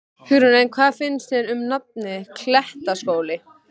Hugrún: En hvað finnst þér um nafnið, Klettaskóli?